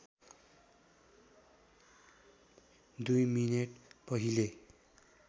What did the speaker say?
दुई मिनेट पहिले